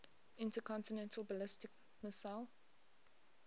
intercontinental ballistic missile